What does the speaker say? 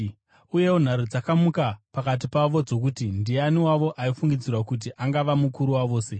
Uyewo nharo dzakamuka pakati pavo dzokuti ndiani wavo aifungidzirwa kuti angava mukuru wavose.